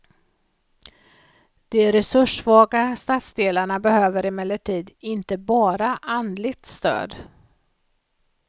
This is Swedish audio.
De resurssvaga stadsdelarna behöver emellertid inte bara andligt stöd.